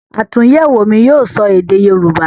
àtúnyẹ̀wò mi yíò sọ èdè yorúbá.